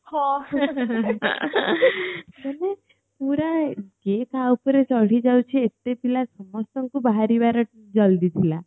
ପୁରା ଯିଏ ଯାହା ଉପରେ ଚଢି ଯାଉଛି ଏତେ ପିଲା ସମସ୍ତଙ୍କୁ ବାହାରିବାର ଜଲ୍ଦି ଥିଲା